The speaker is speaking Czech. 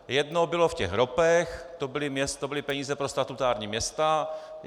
Jedno bylo v těch ROPech - to byly peníze pro statutární města.